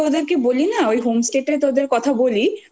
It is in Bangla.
বলি না! ওই home stay টাতে তোদের কথা বলি